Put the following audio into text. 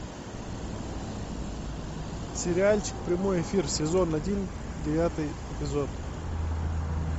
сериальчик прямой эфир сезон один девятый эпизод